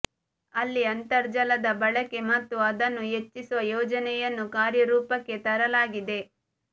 ಅಲ್ಲಿ ಅಂತರ್ಜಲದ ಬಳಕೆ ಮತ್ತು ಅದನ್ನು ಹೆಚ್ಚಿಸುವ ಯೋಜನೆಯನ್ನು ಕಾರ್ಯರೂಪಕ್ಕೆ ತರಲಾಗಿದೆ